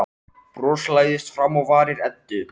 Bros læðist fram á varir Eddu.